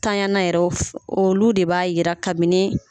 Tanyana yɛrɛ olu de b'a yira kabini.